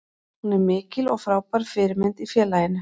Hún er mikil og frábær fyrirmynd í félaginu.